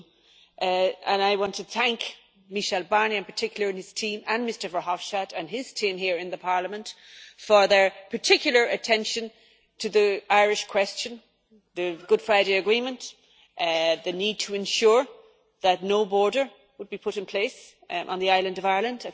2. I want to thank Michel Barnier in particular and his team, and Mr Verhofstadt and his team here in the Parliament, for their particular attention to the Irish question, the Good Friday Agreement, the need to ensure that no border would be put in place on the island of Ireland.